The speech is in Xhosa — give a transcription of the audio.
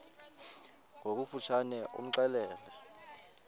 ngokofu tshane imxelele